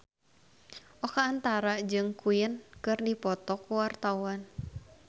Oka Antara jeung Queen keur dipoto ku wartawan